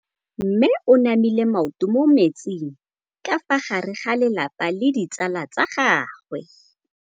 Mme o namile maoto mo mmetseng ka fa gare ga lelapa le ditsala tsa gagwe.